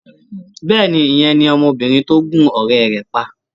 Bẹ́ẹ̀ni, ìyẹn ni ọmọbìnrin tó gún ọ̀rẹ́ rẹ̀ pa.